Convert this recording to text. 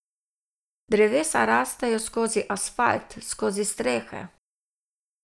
Drevesa rastejo skozi asfalt, skozi strehe.